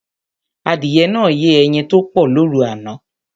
Adìyẹ náà yé ẹyin tó pọ̀ lóru àná